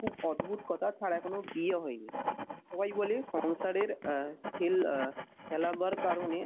খুব অদ্ভুত কথা তাঁর এখন বিয়ে হয় নি। সবাই বলে সংসারের আহ সেল আহ ফেলাবার কারণে